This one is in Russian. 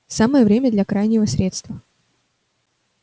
самое время для крайнего средства